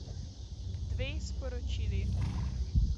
Dve sporočili.